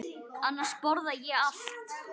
Annars borða ég allt.